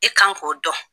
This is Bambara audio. I kan k'o dɔn